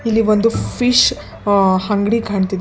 ಇಲ್ಲಿ ಬಂದು ಫಿಶ್ ಅ ಅಂಗ್ಡಿ ಕಾಣ್ತಿದೆ --